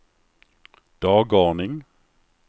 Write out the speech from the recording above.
dagordning